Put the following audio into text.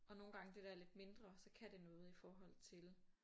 Og nogen gange det der lidt mindre så kan det noget i forhold til